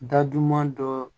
Da duguma dɔ